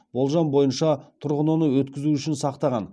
болжам бойынша тұрғын оны өткізу үшін сақтаған